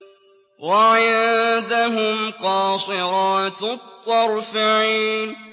وَعِندَهُمْ قَاصِرَاتُ الطَّرْفِ عِينٌ